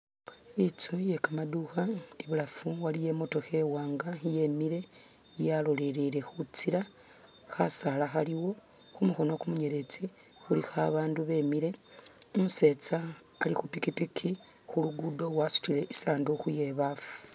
Itsu iye kamaduukha ibulaafu waliyo i'motokha iwanga yemile yalolele khutsiila khasaala khaliwo, khumukhono kumunyeletsi khulikho abandu bemile umusetsa ali khu pikipiki khuluguudo wasutile isanduuku iye baafu.